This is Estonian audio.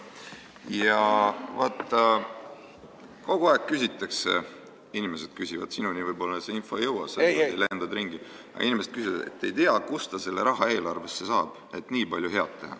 Aga vaata, kogu aeg küsitakse – inimesed küsivad, sinuni võib-olla see info ei jõua, sa lendad ringi –, et ei tea, kust ta selle raha eelarvesse saab, et nii palju head teha.